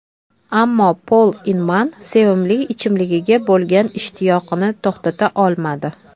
Ammo Pol Inman sevimli ichimligiga bo‘lgan ishtiyoqini to‘xtata olmadi.